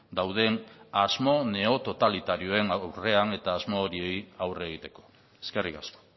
dauden asmo neototalitarioen aurrean eta asmo horiei aurre egiteko eskerrik asko